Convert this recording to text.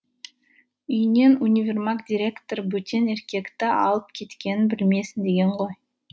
үйінен универмаг директоры бөтен еркекті алып кеткенін білмесін деген ғой